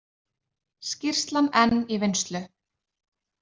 Skýrslan enn í vinnslu